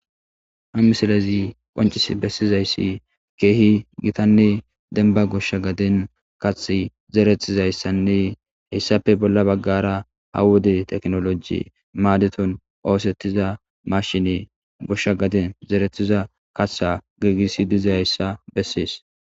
ha misilezi qoncis bessizayssi keehi gitanne denba goshsha gadin kathi zeretizayssanne heyssape bolla baggara ha wode teknoloji maadeton oosettiza mashine goshsha gadin zerethiza katha giigisi diza yssa bessees